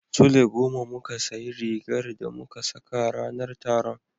Sule goma muka sayi rigar da muka saka ranar taron.